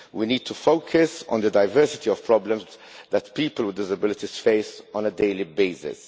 We need to focus on the diversity of problems that people with disabilities face on a daily basis.